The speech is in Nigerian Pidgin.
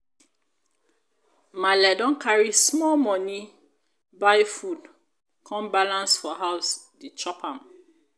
maale don carry small moni buy food come balance for house dey chop am.